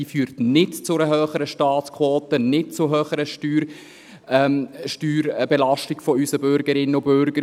Sie führt nicht zu einer höheren Staatsquote und nicht zu einer höheren Steuerbelastung unserer Bürgerinnen und Bürger.